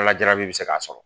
Ala jarabi bi se k'a sɔrɔ